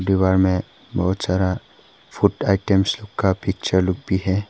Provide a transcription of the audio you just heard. दीवार में बहुत सारा फूड आइटम्स का पिक्चर लोग भी है।